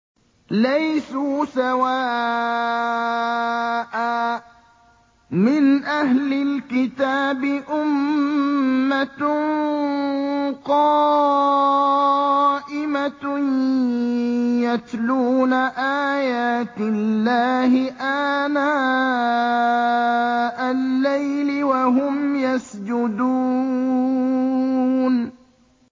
۞ لَيْسُوا سَوَاءً ۗ مِّنْ أَهْلِ الْكِتَابِ أُمَّةٌ قَائِمَةٌ يَتْلُونَ آيَاتِ اللَّهِ آنَاءَ اللَّيْلِ وَهُمْ يَسْجُدُونَ